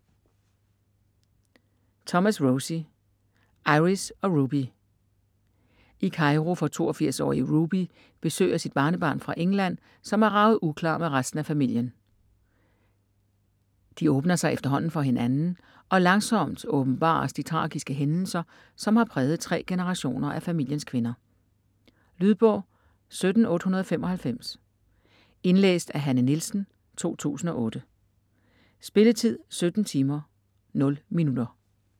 Thomas, Rosie: Iris og Ruby I Cairo får 82-årige Ruby besøg af sit barnebarn fra England, som er raget uklar med resten af familien. De åbner sig efterhånden for hinanden, og langsomt åbenbares de tragiske hændelser, som har præget tre generationer af familiens kvinder. Lydbog 17895 Indlæst af Hanne Nielsen, 2008. Spilletid: 17 timer, 0 minutter.